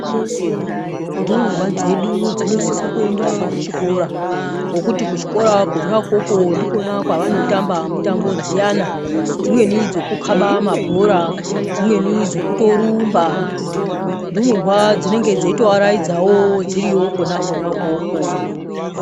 Ndumurwa dzedu dzinosisa kuenda kuchikora ngokuti kuchikora kona ukoko ndikona kwavanotamba mitambo dziyana, dzimweni dzokukaba mabhora, dzimweni dzekutorumba. Ndumurwa dzinenge dzeitoaraidzawo dziriyo kona kona ukoko.